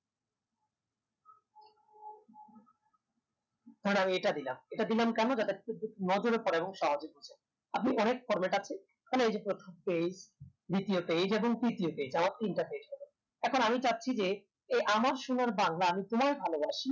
ধরেন আমি এটা দিলাম এটা দিলাম কেনো যাতে খুব বেশি নজরে পরে এবং সহজে বুঝা যায় আপনি অনেক format আছে এখানে এই যে প্রথম page দ্বিতীয় page এবং তৃতীয় page আমার তিনটা page লাগে এখন আমি চাচ্ছি যে এই আমার সোনার বাংলা আমি তোমায় ভালোবাসি